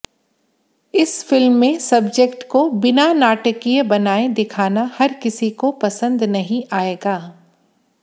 इस फिल्म में सब्जेक्ट को बिना नाटकीय बनाए दिखाना हर किसी को पसंद नहीं आएगा